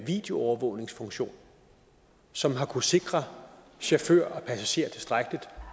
videoovervågningsfunktion som har kunnet sikre chauffør og passagerer tilstrækkeligt